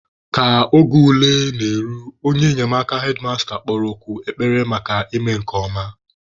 Ka oge ule na-eru, onye enyemaka hedmasta kpọrọ oku ekpere maka ịme nke ọma.